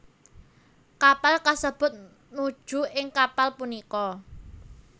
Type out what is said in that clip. Kapal kasebut nuju ing kapal punika